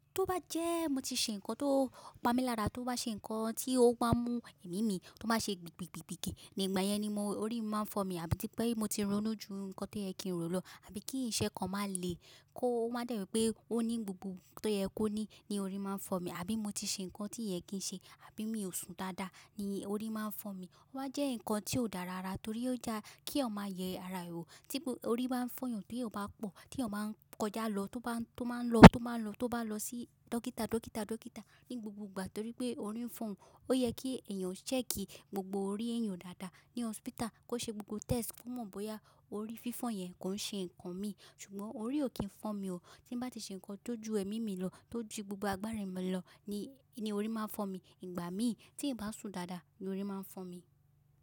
Tó bá jẹ́ mo ti ṣe nǹkan tó pá mi lára, tó bá ṣe nǹkan tí ó bá mú ẹ̀mí mi tó bá ṣe gbìgbìgbìgbì nígbà yẹn ni orí máa ń fọ́n mi. Àbí tí pé mo ti ronú ju nǹkan tí o ye ki rọ̀ lọ, àbí kí se ko má lè kó má jẹ́ pé ó ní gbogbo tó yẹ kó ní ní orí máa ń fọ́n mi. Àbí mo ti ṣe nǹkan tí oye kì ṣe, àbí mi ò sùn dáadáa ni orí máa ń fọ́n mi. Ó wá ń jẹ́ nǹkan tí ò dára rárá torí ó dá kí eyan yẹ ara rẹ̀ ò. Tí orí báa ń fọ́ yan tó yẹn bá pọ̀, tó yẹn máa ń kọjá lọ, tó máa ń lọ, tó bá lọ sí dókítà, dókítà, dókítà ní gbogbo ìgbà torí pé orí ń fọ́n òun. Ó yẹ kí ẹ̀yàn ṣẹ́ẹ̀kì gbogbo orí ẹ̀yán dáadáa ní hospital, kó ṣe gbogbo test fún mọ̀ bóyá orí fífọ̀n yẹn kò ń ṣe nǹkan mi. Ṣùgbọ́n orí ò kí ń fọ́n mi o. Tí n bá ti ṣe nǹkan tó ju ẹ̀mí mi lọ, tó ju gbogbo agbára mi lọ ni orí máa ń fọ́n mi. Ìgbà mi tí n bá sùn dáadáa ni orí máa ń fọ́ mi.